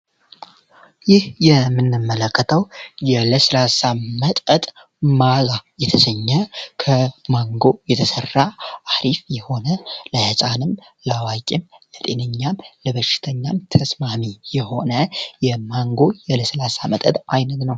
ይህ የምንመለከተው የለስላሳ መጠጥ ማዛ የተሰኘ ከማንጎ የተሠራ አሪፍ የሆነ ለሕፃንም ለዋቂም ለጤነኛም ለበርሽተኛም ተስማሚ የሆነ የማንጎ የለ0 መጠጥ አይነት ነው።